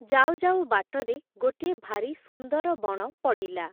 ଯାଉଯାଉ, ବାଟରେ ଗୋଟିଏ ଭାରି ସୁନ୍ଦର ବଣ ପଡ଼ିଲା ।